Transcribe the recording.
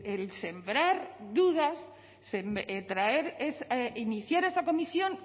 el sembrar dudas iniciar esa comisión